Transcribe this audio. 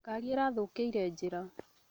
Ngari ĩrathũkĩire njĩra